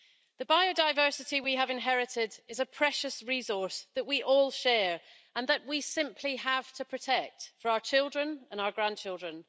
The biodiversity we have inherited is a precious resource that we all share and that we simply have to protect for our children and our grandchildren.